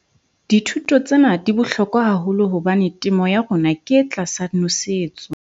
Dithuto tsena di bohlokwa haholo hobane temo ya rona ke e tlasa nosetso.